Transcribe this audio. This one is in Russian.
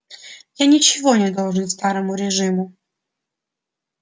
я ничего не должен старому режиму